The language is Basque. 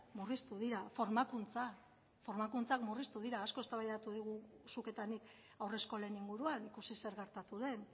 murriztu dira formakuntza formakuntzak murriztu dira asko eztabaidatu dugu zuk eta nik haurreskolen inguruan ikusi zer gertatu den